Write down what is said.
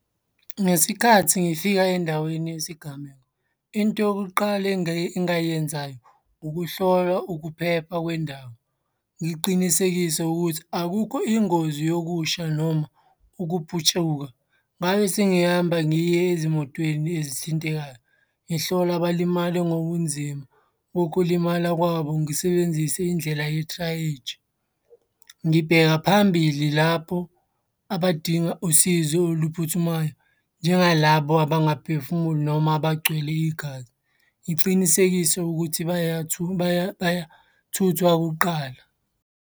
Ngesikhathi ngifika endaweni yesigameko, into yokuqala engayenzayo, ukuhlola ukuphepha kwendawo. Ngiqinisekise ukuthi akukho ingozi yokusha noma ukuputshuka. Ngabe sengihamba ngiye ezimotweni ezithintekayo, ngihlola abalimale ngokunzima ukulimala kwabo. Ngisebenzise indlela ye-triage. Ngibheka phambili lapho abadinga usizo oluphuthumayo njengalabo abangaphefumuli noma abagcwele igazi, ngicinisekise ukuthi bayathuthwa kuqala.